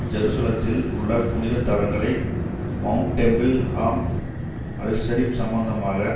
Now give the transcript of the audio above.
ஜெருசலத்தில் உள்ள புனித தலங்களை மவுண்ட் டெம்பிள் ஹாம் அல்ஷரிப் சம்பந்தமாக